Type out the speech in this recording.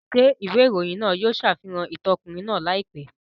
Ṣé ìwé ìròyìn náà yóò ṣàfihàn ìtàn ọkùnrin náà láìpẹ́?